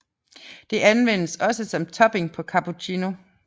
Det anvendes også som topping på cappuccino